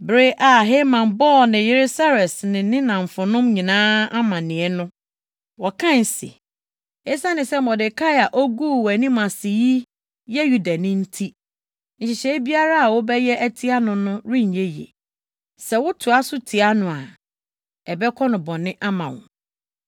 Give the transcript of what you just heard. Bere a Haman bɔɔ ne yere Seres ne ne nnamfonom nyinaa amanneɛ no, wɔkae se, “Esiane sɛ Mordekai a oguu wʼanim ase yi yɛ Yudani nti, nhyehyɛe biara a wobɛyɛ atia no no renyɛ yiye. Sɛ wotoa so tia no a, ɛbɛkɔ no bɔne ama wo.”